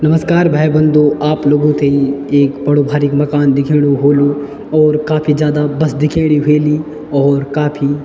नमस्कार भाई बंधू आप लोगो थेइ एक बड़ो भारिक मकान दिखेणु होलू और काफी जादा बस दिखेणी ह्वेली और काफी --